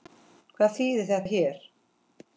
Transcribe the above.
Hvað þýðir þetta hér?